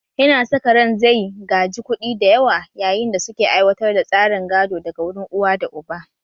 Yana saka ran zai gaji kuɗi da yawa yayin da suke aiwatar da tsarin gado daga wurin uwa da uba